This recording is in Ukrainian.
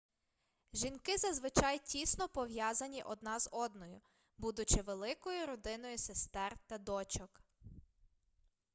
жінки зазвичай тісно пов'язані одна з одною будучи великою родиною сестер та дочок